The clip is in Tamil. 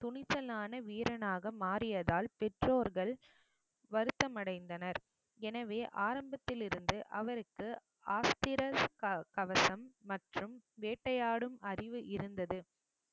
துணிச்சலான வீரனாக மாறியதால் பெற்றோர்கள் வருத்தம் அடைந்தனர் எனவே ஆரம்பத்திலிருந்து அவருக்கு ஆஸ்திரஸ் க~ கவசம் மற்றும் வேட்டையாடும் அறிவு இருந்தது